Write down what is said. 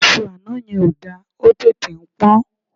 Iṣú àná yẹn ò da, ó tètè ń pọ́n.